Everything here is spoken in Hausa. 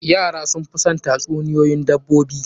Yara sun fi son tatsuniyoyin dabbobi.